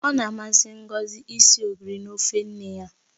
Ọ na-amasị Ngozi isi ogiri na ofe nne ya.